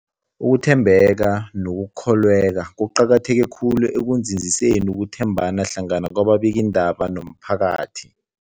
Ukuthembeka nokukholweka kuqakatheke khulu ekunzinziseni ukuthembana hlangana kwababikiindaba nomphakathi.